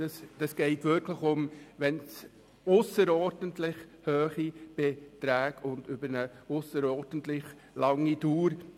Es geht wirklich um Beiträge von ausserordentlicher Höhe und von ausserordentlich langer Dauer.